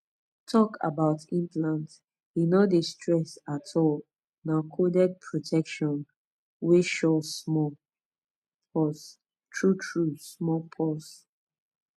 talk about implant e no dey stress at all na coded protection wey suresmall pause true true small pause